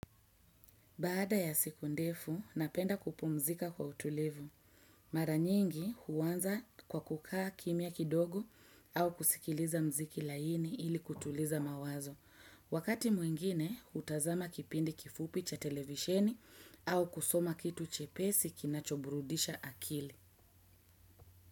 Baada ya siku ndefu, napenda kupumzika kwa utulivu. Mara nyingi huwanza kwa kukaa kimia kidogo au kusikiliza mziki laini ili kutuliza mawazo. Wakati mwingine, utazama kipindi kifupi cha televisheni au kusoma kitu chepesi kinachoburudisha akili.